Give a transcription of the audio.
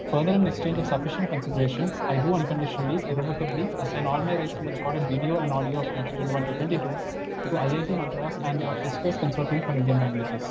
Speaker 1 further, in exchange of sufficient consideration, I do unconditionally irrevocably assign all my rights in the record audio of twenty twenty one to twenty twenty two to IIT Madras and the S 2 S consortium for Indian languages.